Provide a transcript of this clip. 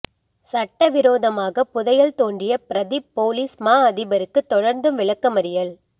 சட்டவிரோதமாக புதையல் தோண்டிய பிரதிப் பொலிஸ் மா அதிபருக்கு தொடர்ந்தும் விளக்கமறியல்